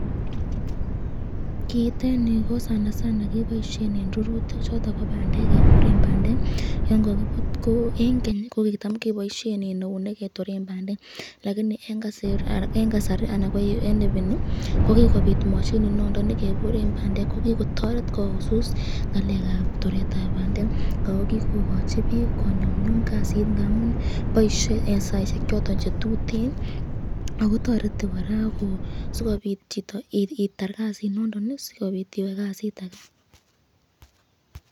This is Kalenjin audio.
Kiiteni ko kebaishen eng rurutik choton bo bandek ,keboren bandek yan kakibut, ko eng Keny ko kitam keboisyen eunek ketorn bandek lakini eng kasari ana ko eng ipini kokikobot mshinit nondon nekeboren bandek kokikotoreb koususit ngalekab toretab bandek ,ako kikokachi bik konyumnyum kasit ngamun baisye eng saisyek choton chetuten akotereti koraa sikobit itar Kasi nondon sikobit iwe kasit age .